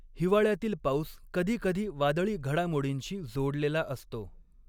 हिवाळ्यातील पाऊस कधीकधी वादळी घडामोडींशी जोडलेला असतो.